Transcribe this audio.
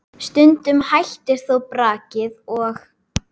Stundum hættir þó brakið og